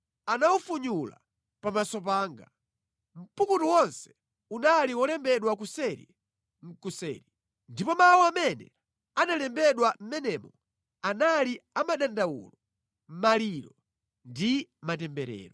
Anawufunyulura pamaso panga. Mpukutu wonse unali wolembedwa kuseri nʼkuseri. Ndipo mawu amene analembedwa mʼmenemo anali a madandawulo, maliro ndi matemberero.